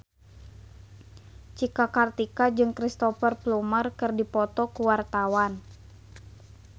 Cika Kartika jeung Cristhoper Plumer keur dipoto ku wartawan